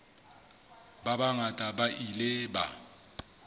ba bangata ba ile ba